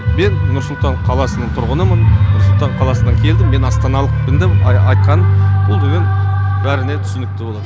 мен нұр сұлтан қаласының тұрғынымын нұр сұлтан қаласынан келдім мен астаналықпен деп айтқан ол деген бәріне түсінікті болады